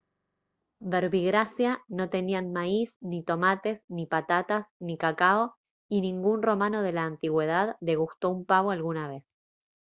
verbigracia no tenían maíz ni tomates ni patatas ni cacao y ningún romano de la antigüedad degustó un pavo alguna vez